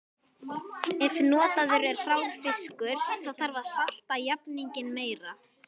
Ef notaður er hrár fiskur þarf að salta jafninginn meira.